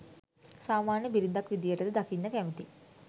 සාමාන්‍ය බිරිඳක් විදියට ද දකින්න කැමැති?